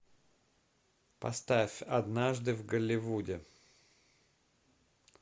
поставь однажды в голливуде